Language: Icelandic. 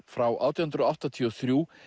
frá átján hundruð áttatíu og þrjú